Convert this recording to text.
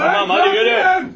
Hadi tamam, hadi yürü!